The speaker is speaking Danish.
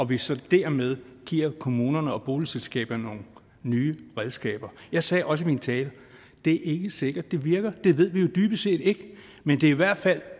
vi så dermed giver kommunerne og boligselskaberne nogle nye redskaber jeg sagde også i min tale at det ikke er sikkert at det virker det ved vi jo dybest set ikke men det er i hvert fald